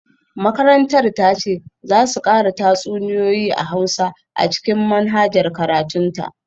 Makarantar ta ce za su kara tatsuniyoyi na Hausa a cikin manhajar karatun ta